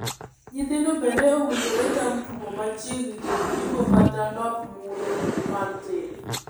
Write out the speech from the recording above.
Nyithindo bende owinjore tam tugo machiegni kod jiko kata ndop muya mar tedo